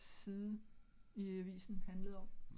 Side i avisen handlede om